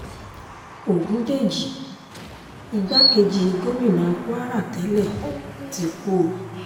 ọ̀gùndẹ̀jì igbákejì gómìnà kwara tẹ́lẹ̀ ti kú o